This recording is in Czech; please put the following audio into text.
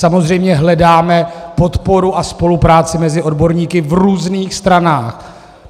Samozřejmě hledáme podporu a spolupráci mezi odborníky v různých stranách.